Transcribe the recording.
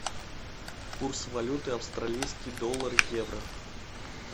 курс валюты австралийский доллар в евро